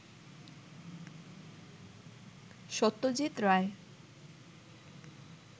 Satyajit Ray